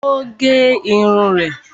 O gé irun rẹ